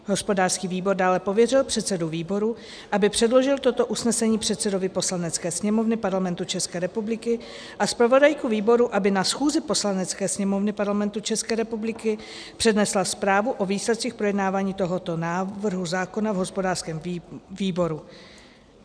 Hospodářský výbor dále pověřil předsedu výboru, aby předložil toto usnesení předsedovi Poslanecké sněmovny Parlamentu České republiky, a zpravodajku výboru, aby na schůzi Poslanecké sněmovny Parlamentu České republiky přednesla zprávu o výsledcích projednávání tohoto návrhu zákona v hospodářském výboru.